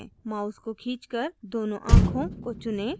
mouse को खींचकर दोनों आँखों को चुनें